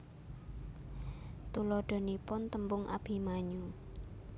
Tuladhanipun tembung Abimanyu